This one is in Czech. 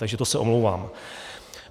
Takže to se omlouvám.